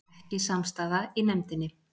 Ekki samstaða í nefndinni